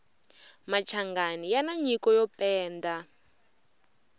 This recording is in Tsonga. machangani yani nyiko yo penda